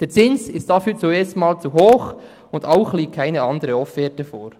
Der Zins ist dafür erstens mal zu hoch, und zweitens liegt keine andere Offerte vor.